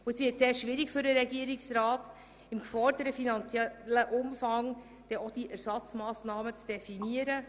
Es wird sehr schwierig für den Regierungsrat, im geforderten finanziellen Umfang Ersatzmassnahmen zu definieren.